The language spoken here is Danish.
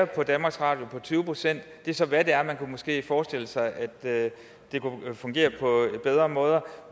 på danmarks radio med tyve procent og det er så hvad det er man kunne måske forestille sig at det kunne fungere på bedre måder